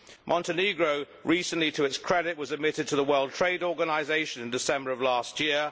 Montenegro to its credit was admitted to the World Trade Organisation in December last year.